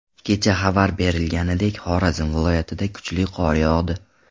Kecha xabar berilganidek , Xorazm viloyatida kuchli qor yog‘di.